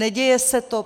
Neděje se to.